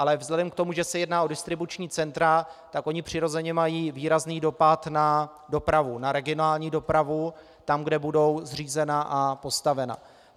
Ale vzhledem k tomu, že se jedná o distribuční centra, tak ona přirozeně mají výrazný dopad na dopravu, na regionální dopravu tam, kde budou zřízena a postavena.